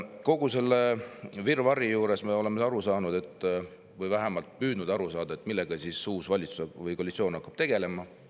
Kogu selle virvarri juures me oleme püüdnud aru saada, millega uus valitsus või koalitsioon tegelema hakkab.